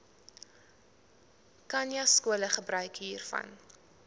khanyaskole gebruik hiervan